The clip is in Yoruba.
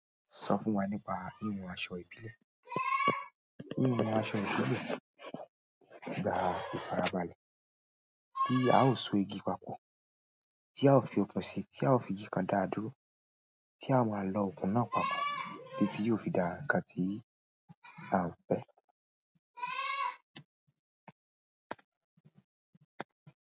Sọ fún wa nípa híhun aṣọ ìbílẹ̀. Híhun aṣọ ìbílẹ̀, gba ìfarabalẹ̀ tí a ó so igi papọ̀, tí a ó fi okùn sí, tí a ó fi igi kan dáa dúró, tí a máa lọ okùn náà papọ̀ títí yóò fi dà nkán tí à ń fẹ́.